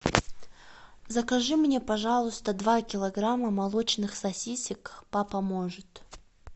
закажи мне пожалуйста два килограмма молочных сосисок папа может